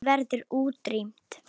Þeim verður útrýmt.